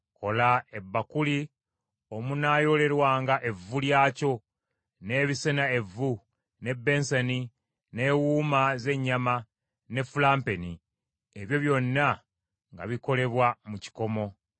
Kola ebbakuli omunaayoolerwanga evvu lyakyo, n’ebisena evvu, n’ebbensani, n’ewuuma z’ennyama, ne fulampeni; ebyo byonna nga bikolebwa mu kikomo.